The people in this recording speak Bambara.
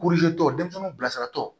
tɔ denmisɛnninw bilasiratɔ